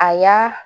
A y'a